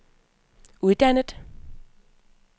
uddannet